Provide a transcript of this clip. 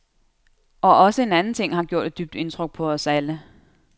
Og også en anden ting har gjort et dybt indtryk på os alle.